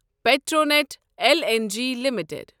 Petronet L N G limited